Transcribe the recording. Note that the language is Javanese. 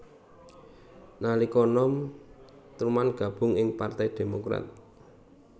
Nalika nom Truman gabung ing Partai Demokrat